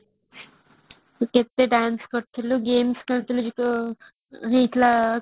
କେତେ dance କରୁଥିଲେ games ଖେଳୁଥିଲେ ସେ ଯୋଉ ହେଇଥିଲା